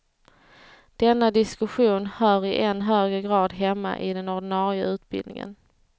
Denna diskussion hör i än högre grad hemma i den ordinarie utbildningen.